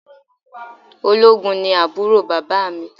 Ológun ni àbúrò bàbá mi